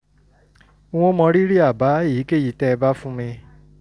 n ó mọrírì àbá èyíkéyìí tẹ́ ẹ bá fún mi